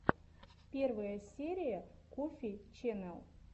первая серия коффи ченнэл